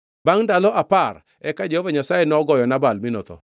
Bangʼ ndalo apar, eka Jehova Nyasaye nogoyo Nabal mi notho.